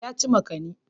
Ya ci makani.